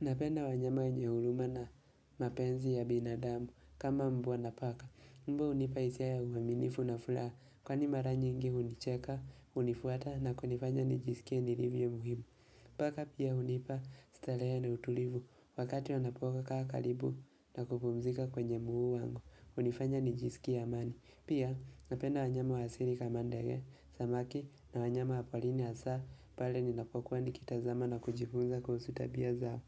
Unapenda wanyama wenye huruma na mapenzi ya binadamu kama mbwa na paka. Mbwa hunipa hisia ya uaminifu na furaha kwa ni mara nyingi hunicheka, hunifuata na kunifanya nijisikie nilivyo muhimu. Paka pia hunipa starehe na utulivu wakati wanapokaa karibu na kupumzika kwenye mguu wangu. Hunifanya nijisikie amani. Pia napenda wanyama wa asili kama ndege, samaki na wanyama waporini hasaa pale ninapokuwa nikitazama na kujifunza kuhusu tabia zao.